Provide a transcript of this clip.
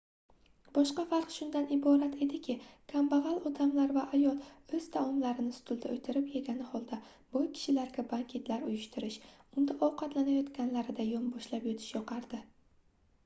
boshqa farq shundan iborat ediki kambagʻal odamlar va ayol oʻz taomlarini stulda oʻtirib yegani holda boy kishilarga banketlar uyushtirish unda ovqatlanayotganlarida yonboshlab yotish yoqardi